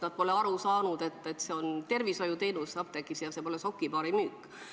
Nad pole aru saanud, et apteegiteenus on tervishoiuteenus, mitte sokipaari müük.